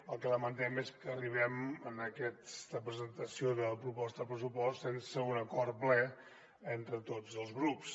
el que lamentem és que arribem a aquesta presentació de la proposta de pressupost sense un acord ple entre tots els grups